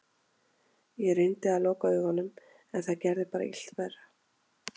Ég reyndi að loka augunum en það gerði bara illt verra.